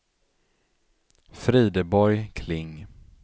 Frideborg Kling